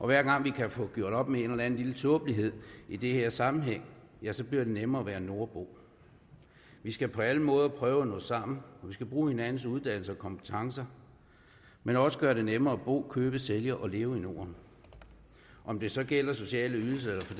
hver gang vi kan få gjort op med en eller anden lille tåbelighed i den her sammenhæng ja så bliver det nemmere at være nordbo vi skal på alle måder prøve at nå sammen vi skal bruge hinandens uddannelser og kompetencer men også gøre det nemmere at bo at købe sælge og leve i norden om det så gælder sociale ydelser eller for